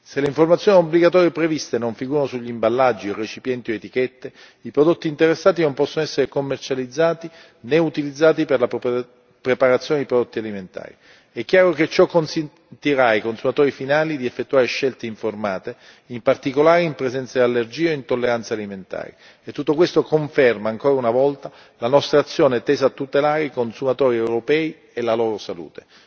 Se le informazioni obbligatorie previste non figurano su imballaggi, recipienti o etichette, i prodotti interessati non possono essere commercializzati né utilizzati per la preparazione di prodotti alimentari. È chiaro che ciò consentirà ai consumatori finali di effettuare scelte informate, in particolare in presenza di allergie e intolleranze alimentari e tutto questo conferma ancora una volta la nostra azione tesa a tutelare i consumatori europei e la loro salute.